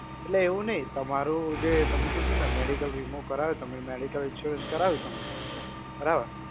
એટલે એવું નહિ, તમારું જે તમે કીધું ને medical વીમો કરાયો તમે medical insurance કરાયો તમે બરાબર.